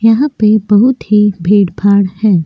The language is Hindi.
यहाँ पे बहुत ही भीड़-भार है।